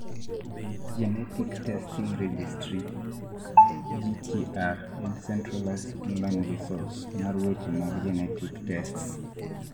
genetic testing registry (GTR) en centralized online resource mar weche mag genetic tests